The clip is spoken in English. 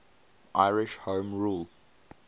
irish home rule